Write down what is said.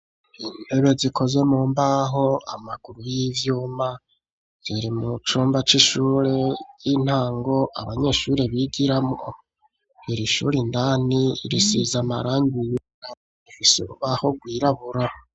Intebe zikoze mu mbaho amaguru y'ivyuma ziri mu cumba c'ishure y'intango abanyeshuri bigiramwo iri shuri ndani risize amarangi yirabura ifise urubaho rwirabura.